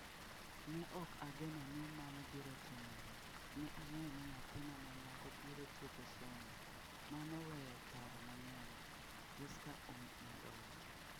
Ne ok ageno ni mano biro timore, ne ang’eyo ni nyathina ma nyako biro tieko somo, mano weyo paro mang’eny’, Jesca omedo wacho.